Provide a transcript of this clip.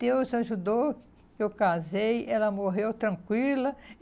Deus ajudou, eu casei, ela morreu tranquila.